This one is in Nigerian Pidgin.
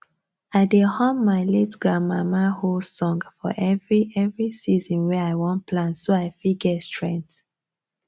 i dey hum my late grandmama hoe song for every every season wey i wan plant so i fit get strength